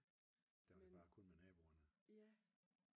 Der var det bare kun med naboerne